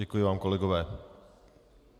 Děkuji vám, kolegové.